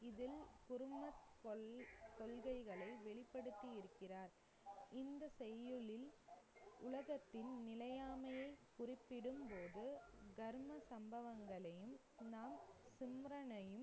குருமத் கொள்~ கொள்கைகளை வெளிப்படுத்தி இருக்கிறார் இந்த செய்யுளில் உலகத்தின் நிலையாமையை குறிப்பிடும்போது, தர்ம சம்பவங்களையும்